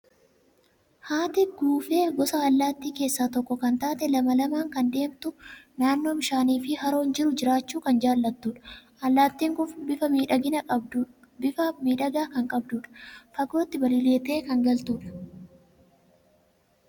Haati guufee gosa allaattii keessaa tokko kan taate, lama lamaan kan deemtu, naannoo bishaanii fi Haroon jiru jiraachuu kan jaalattudha. Allaattiin kun bifa miidhagaa kan qabdudha! Fagootti balaliitee kan galtudha.